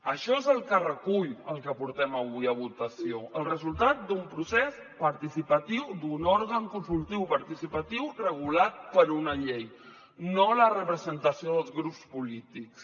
això és el que recull el que portem avui a votació el resultat d’un procés participatiu d’un òrgan consultiu participatiu regulat per una llei no la representació dels grups polítics